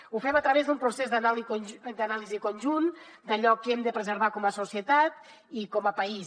ho fem a través d’un procés d’anàlisi conjunt d’allò que hem de preservar com a societat i com a país